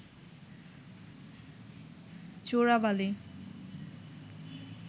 চোরাবালি